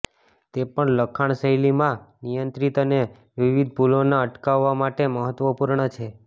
તે પણ લખાણ શૈલીમાં નિયંત્રિત અને વિવિધ ભૂલોના અટકાવવા માટે મહત્વપૂર્ણ છે